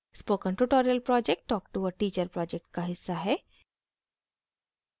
spoken tutorial project talk to a teacher project का हिस्सा है